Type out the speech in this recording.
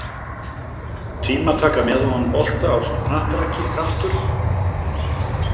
Tímataka með og án bolta ásamt knattraki Kraftur?